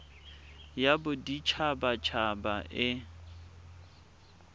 ya bodit habat haba e